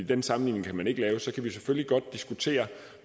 den sammenligning kan man ikke lave kan vi selvfølgelig godt diskutere